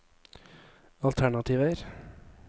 alternativer